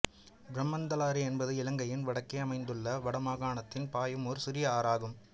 பிரமந்தலாறு என்பது இலங்கையின் வடக்கே அமைந்துள்ள வடமாகாணத்தில் பாயும் ஓர் சிறிய ஆறு ஆகும்